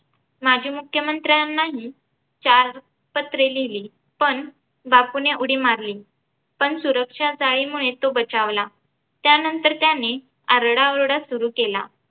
माजी मुख्यमंत्र्यांनाही चार पत्रे लिहिली पण बापूने उडी मारली पण सुरक्षा जाळीमुळे तो बचावला. त्यानंतर त्याने आरडाओरडा सुरु केला.